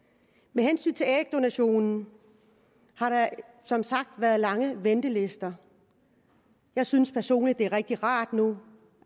med hensyn til ægdonation har der som sagt været lange ventelister jeg synes personligt at det er rigtig rart